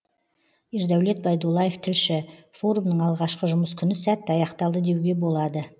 ердәулет байдуллаев тілші форумның алғашқы жұмыс күні сәтті аяқталды деуге болады